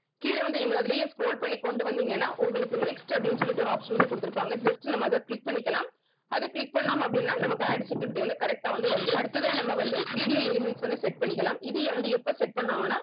கீழ வந்து நீங்க அதுலயே scroll பண்ணி கொண்டு வந்தீங்கன்னா உங்களுக்கு next அப்படின்னு சொல்லிட்டு ஒரு option வந்து குடுத்திருப்பாங்க just நம்ம அத click பண்ணிக்கலாம் அத click பண்ணோம் அப்படின்னா நமக்கு add security வந்து correct ஆ வந்து வந்துடும் அடுத்ததா நம்ம வந்து video elements வந்து set பண்ணிக்கலாம் இது வந்து எப்ப set பண்ணுவாங்கனா